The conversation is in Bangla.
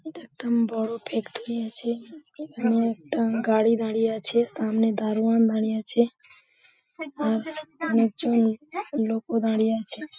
এটা একটা উম বড় ফ্যাক্টরি আছে। এখানে একটা গাড়ি দাঁড়িয়ে আছে সামনে দারোয়ান দাঁড়িয়ে আছে আর অনেকজন লোকও দাঁড়িয়ে আছে।